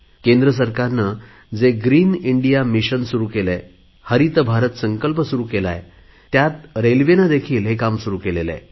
केंद्र सरकारने जे ग्रीन इंडिया मिशन सुरु केले आहे हरित भारत संकल्प सुरु केला आहे त्यात रेल्वेने देखील हे काम सुरु केले आहे